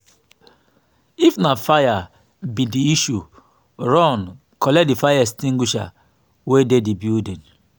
if na fire be di issue run collect di fire extingusher wey dey di building